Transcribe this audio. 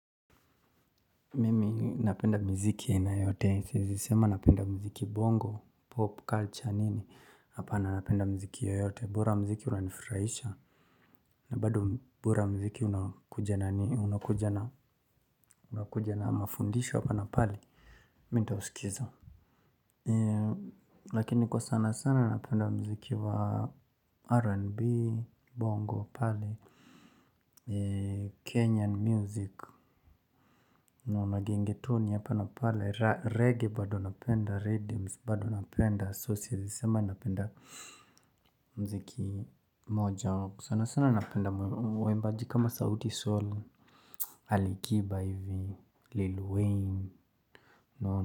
Mimi napenda mziki ya aina yote, siwezi sema napenda mziki bongo, 'pop culture' nini hapana, napenda mziki yoyote. Bora mziki unanifurahisha. Na bado bora mziki. Unakuja na mafundisho hapa na pale, mi nitausikiza. Lakini kwa sana sana napenda mziki wa 'R&B' bongo pale, 'Kenyan music'. Naona gengetoni hapa na pale 'Reggae' bado napenda 'Riddims' bado napenda. So siwezisema napenda mziki moja. Sana sana napenda muimbaji kama Sauti sol, Alikiba hivi, Lil wayne.